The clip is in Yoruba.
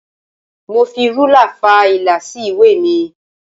Mo fi ruler fa ìlà sí ìwé mi.